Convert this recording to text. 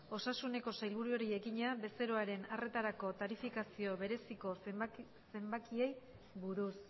osasuneko sailburuari egina bezeroaren arretarako tarifikazio bereziko zenbakiei buruz